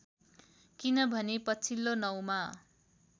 किनभने पछिल्लो नौमा